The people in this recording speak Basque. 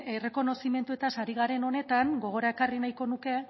errekonozimenduetaz ari garen honetan gogora ekarri nahiko nuke